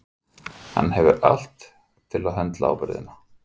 Hann hefur allt til að höndla ábyrgðina.